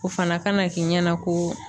O fana kana k'i ɲɛna ko